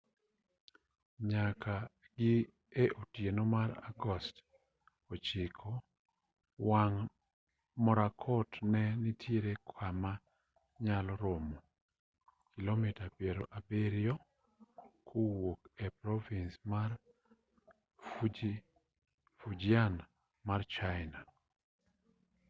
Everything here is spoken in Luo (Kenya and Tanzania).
nyaka gi e otieno mar agost 9 wang' morakot ne nitiere kama nyalo romo kilomita piero abiryo kowuok e provins ma fujian mar china